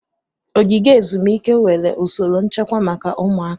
Ogige ezumike nwere usoro nchekwa maka ụmụaka.